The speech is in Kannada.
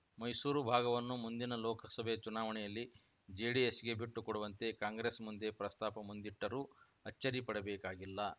ಮೈಸೂರು ಭಾಗವನ್ನು ಮುಂದಿನ ಲೋಕಸಭೆ ಚುನಾವಣೆಯಲ್ಲಿ ಜೆಡಿಎಸ್‌ಗೆ ಬಿಟ್ಟುಕೊಡುವಂತೆ ಕಾಂಗ್ರೆಸ್‌ ಮುಂದೆ ಪ್ರಸ್ತಾಪ ಮುಂದಿಟ್ಟರೂ ಅಚ್ಚರಿ ಪಡಬೇಕಾಗಿಲ್ಲ